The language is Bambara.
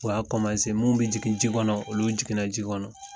U y'a mun be jigi ji kɔnɔ, olu jiginna ji kɔnɔ.